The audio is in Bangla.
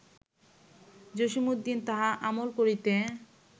জসীমউদ্দীন তাহা আমল করিতে